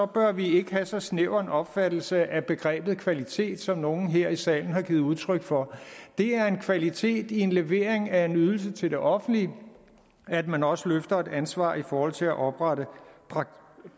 bør vi ikke have så snæver en opfattelse af begrebet kvalitet som nogle her i salen har givet udtryk for det er en kvalitet i en levering af en ydelse til det offentlige at man også løfter et ansvar i forhold til at oprette